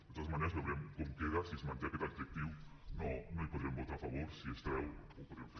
de totes maneres veurem com queda si s’hi manté aquest adjectiu no hi podrem votar a favor si es treu ho podrem fer